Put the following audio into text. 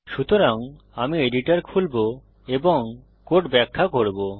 সুতরাং আমি এডিটর খুলবো এবং কোড ব্যাখ্যা করব